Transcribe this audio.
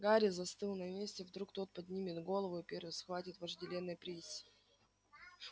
гарри застыл на месте вдруг тот поднимет голову и первый схватит вожделенный приз